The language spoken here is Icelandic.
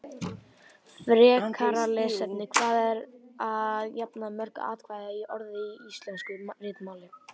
Frekara lesefni: Hvað eru að jafnaði mörg atkvæði í orði í íslensku ritmáli?